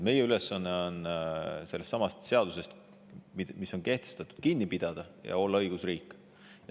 Meie ülesanne on sellestsamast seadusest, mis on kehtestatud, kinni pidada ja olla õigusriik.